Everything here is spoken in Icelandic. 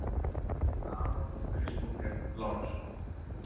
Aron Kristófer Lárusson